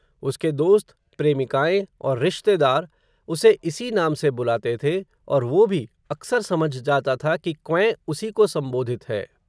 उसके दोस्त, प्रेमिकाएँ, और रिश्तेदार, उसे इसी नाम से बुलाते थे, और वो भी, अक्सर समझ जाता था, कि क्वैं, उसी को संबोधित है